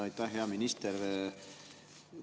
Aitäh, hea minister!